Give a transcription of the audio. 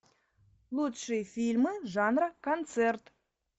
лучшие фильмы жанра концерт